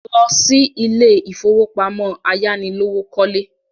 Lọ sí ilé ìfowópamọ́ ayánilówókọ́lé!